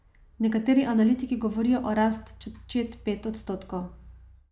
Nekateri analitiki govorijo o rasti čet pet odstotkov.